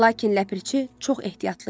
Lakin ləpirçi çox ehtiyatlı idi.